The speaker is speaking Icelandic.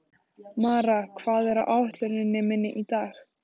Mara, hvað er á áætluninni minni í dag?